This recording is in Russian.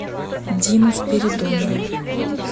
диму спиридонова